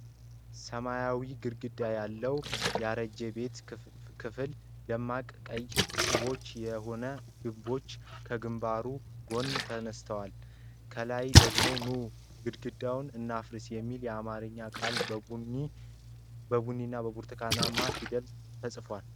ሰማያዊ ግድግዳ ያለውን ያረጀ ቤት ክፍል ደማቅ ቀይ ጡቦች የሆኑት ግምቦች ከግንባሩ ጎን ተነስተዋል። ከላይ ደግሞ "ኑ:-ግድግዳ እናፍርስ" የሚል የአማርኛ ቃል በቡኒ እና በብርቱካናማ ፊደላት ተጽፏል።